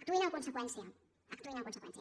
actuïn en conseqüència actuïn en conseqüència